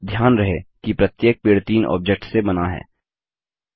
अब ध्यान रहे कि प्रत्येक पेड़ तीन ऑब्जेक्ट्स से बना है